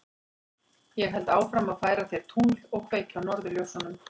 Ég held áfram að færa þér tungl og kveikja á norðurljósunum.